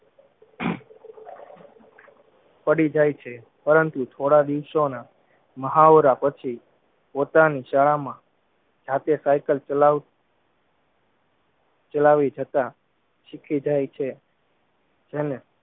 પડીજાય છે પરંતુ થોડા દિવસોના મહાવરા પછી પોતાની શાળામાં જાતે સાઇકલ ચલાવ ચલાવી જતા શીખીજાય છે જેને